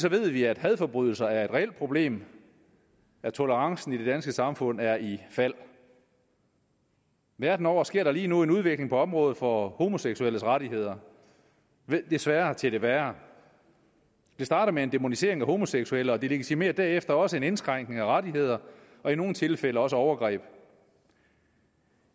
ved vi at hadforbrydelser er et reelt problem at tolerancen i det danske samfund er i fald verden over sker der lige nu en udvikling på området for homoseksuelles rettigheder desværre til det værre det starter med en dæmonisering af homoseksuelle og det legitimerer derefter også en indskrænkning af rettigheder og i nogle tilfælde også overgreb